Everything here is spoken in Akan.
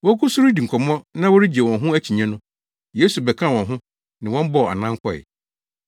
Wogu so redi nkɔmmɔ na wɔregye wɔn ho akyinnye no, Yesu bɛkaa wɔn ho ne wɔn bɔɔ anan kɔe.